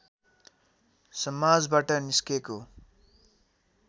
समाजबाट निस्केको